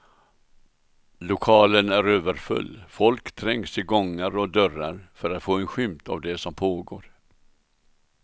Lokalen är överfull, folk trängs i gångar och dörrar för att få en skymt av det som pågår.